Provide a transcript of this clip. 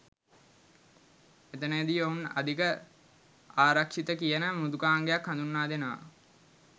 එතනදී ඔවුන් අධි ආරක්ෂිතකියන මෘදුකාංගයක් හඳුන්වා දෙනවා